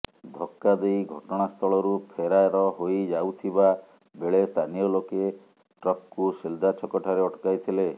ଧକ୍କା ଦେଇ ଘଟଣାସ୍ଥଳରୁ ଫେରାର ହୋଇ ଯାଉଥିବା ବେଳେ ସ୍ଥାନୀୟ ଲୋକେ ଟ୍ରକ୍କୁ ସିଲଦା ଛକ ଠାରେ ଅଟକାଇଥିଲେ